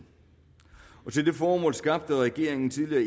til det formål skabte regeringen tidligere